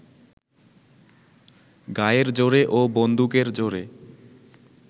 গায়ের জোরে ও বন্দুকের জোরে